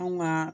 Anw ka